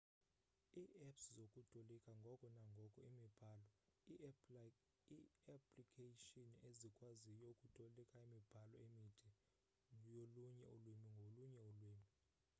ii-apps zokutolika ngoko nangoko imibhalo ii-applikayshini ezikwaziyo ukutolika iimibhalo emide yolunye ulwimi ngolunye ulwimi